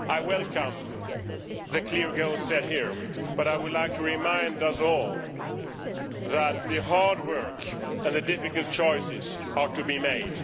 I welcome the clear goals set out here, but I would like to remind us all that hard work and difficult choices have to be made.